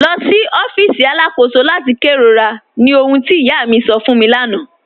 Lọ sí ọfíìsì aláàkọ̀sò láti kẹrọ̀rà, ní òhùn tí ìyá mi sọ̀ fún mi láńà